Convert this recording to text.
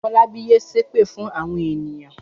Fọlábí yé ṣép fún àwọn ènìyàn!